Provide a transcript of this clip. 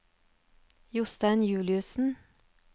Jostein Juliussen